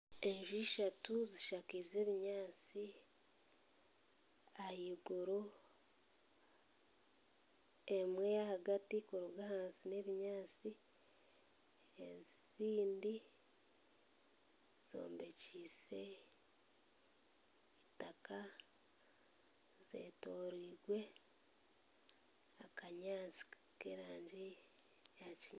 Enju ishatu zishakaize ebinyaasi ahaiguru. Emwe ahagati kuruga ahansi n'ebinyaasi, ezindi zombekyeise eitaka zetoroirwe akanyaasi k'erangi eya kinyansi